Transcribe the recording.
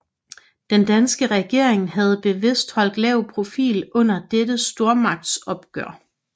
Den danske regering havde bevidst holdt lav profil under dette stormagtsopgør